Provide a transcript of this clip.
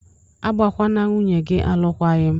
Agbakwala nwunye gị alụkwaghịm!